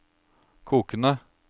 kokende